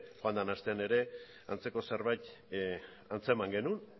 joan den astean ere antzeko zerbait antzeman genuen